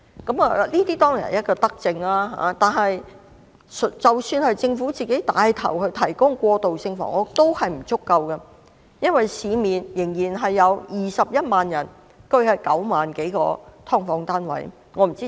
這當然是一項德政，但即使政府牽頭提供過渡性房屋，仍不足夠，因為市面仍然有21萬人居於9萬多個"劏房"單位。